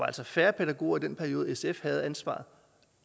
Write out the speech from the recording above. altså færre pædagoger i den periode sf havde ansvaret